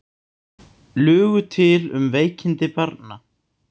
Lugu til um veikindi barnanna